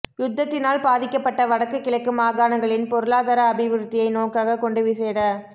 யுத்தத்தினால் பாதிக்கப்பட்ட வடக்கு கிழக்கு மாகாணங்களின் பொருளாதார அபிவிருத்தியை நோக்காகக் கொண்டு விசேட